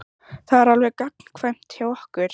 Það er alveg gagnkvæmt hjá okkur.